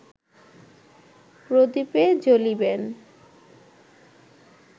প্রদীপে জ্বলিবেন